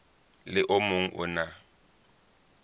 le o mong o na